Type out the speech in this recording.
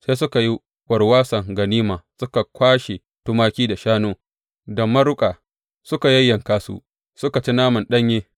Sai suka yi warwason ganima, suka kwashe tumaki, da shanu, da maruƙa, suka yayyanka su, suka ci naman ɗanye.